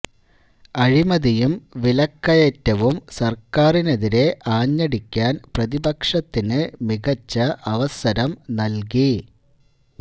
അഴിമതിയും വിലക്കയറ്റവും സര്ക്കാറിനെതിരെ ആഞ്ഞടിക്കാന് പ്രതിപക്ഷത്തിന് മികച്ച അവസരം നല്കി